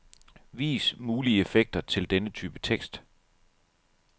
Vis mulige effekter til denne type tekst.